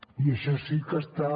i això sí que està